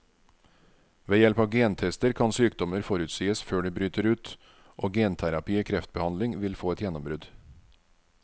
Ved hjelp av gentester kan sykdommer forutsies før de bryter ut, og genterapi i kreftbehandling vil få et gjennombrudd.